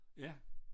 Ja